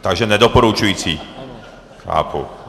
Takže nedoporučující, chápu.